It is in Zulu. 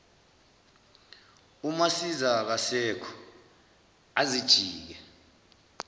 umasiza akasekho azijike